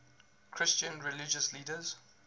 christian religious leaders